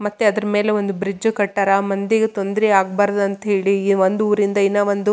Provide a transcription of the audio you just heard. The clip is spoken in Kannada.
ಮತ್ತೆ ಅದ್ರ ಮೇಲೆ ಒಂದು ಬ್ರಿಡ್ಜ್ ಕಟ್ಟಾರ ಮಂದಿಗೆ ತೊಂದರ ಆಗ್ಬಾರ್ದಂತೇಳಿ ಇ ಒಂದು ಊರಿಂದ ಇನ್ನ ಒಂದು.